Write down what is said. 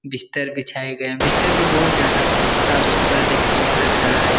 बिस्तर बिछाये गये हैं बिस्तर भी बहुत ज्यादा साफ-सुथरे देखने में लग रहा है।